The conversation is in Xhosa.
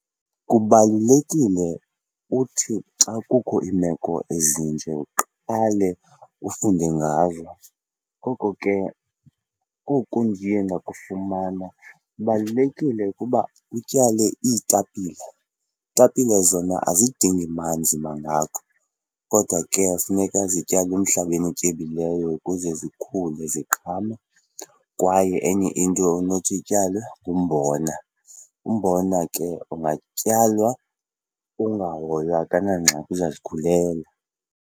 Kubalulekile uthi xa kukho iimeko ezinje uqale ufunde ngazo, ngoko ke oku ndiye ndakufumana kubalulekile ukuba utyale iitapile. Iitapile zona azidingi manzi mangako kodwa ke funeka zityalwe emhlabeni otyebileyo ukuze zikhule ziqhame. Kwaye enye into onothi ityalwe ngumbona. Umbona ke ungatyalwa ungahoywa, akanangxaki uzazikhulela.